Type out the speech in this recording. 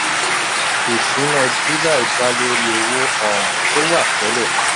ìṣúná july da lórí owó um tó wà tẹ́lẹ̀.